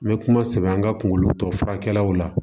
N bɛ kuma sɛbɛ an ka kunkolo tɔ furakɛliw la